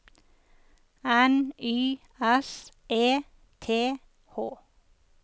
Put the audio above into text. N Y S E T H